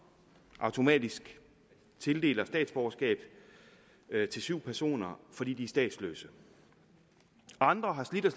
automatisk tildeler statsborgerskab til syv personer fordi de er statsløse andre har slidt og